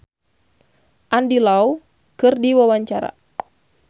Rio Febrian olohok ningali Andy Lau keur diwawancara